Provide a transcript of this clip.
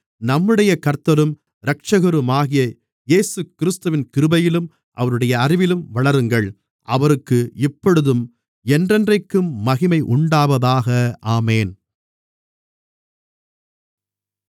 நம்முடைய கர்த்தரும் இரட்சகருமாகிய இயேசுகிறிஸ்துவின் கிருபையிலும் அவருடைய அறிவிலும் வளருங்கள் அவருக்கு இப்பொழுதும் என்றென்றைக்கும் மகிமை உண்டாவதாக ஆமென்